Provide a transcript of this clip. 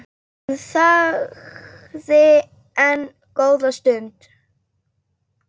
Hann þagði enn góða stund.